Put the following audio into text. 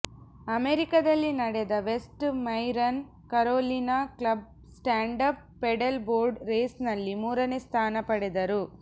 ಅಮೆರಿಕದಲ್ಲಿ ನಡೆದ West Marine Carolina club standup paddle board ರೇಸ್ನಲ್ಲಿ ಮೂರನೆ ಸ್ಥಾನ ಪಡೆದರು